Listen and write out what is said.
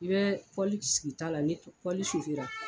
I bɛ sigi ta la , ni